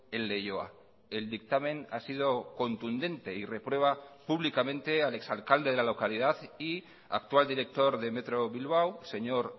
en leioa el dictamen ha sido contundente y reprueba públicamente al exalcalde de la localidad y actual director de metro bilbao señor